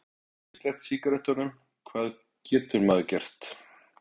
Ég get ekki sleppt sígarettunum, hvað getur maður gert?